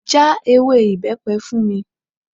Já ewé ibepe fún mi.